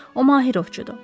O Mahirovçudur.